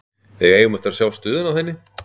Við eigum eftir að sjá stöðuna á henni.